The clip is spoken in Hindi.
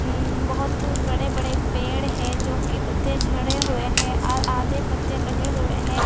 उम्म बहुत बड़े बड़े पेड़ हैं जोकि पत्ते झड़े हुए हैं आ आ आधे पत्ते लगे हुए हैं।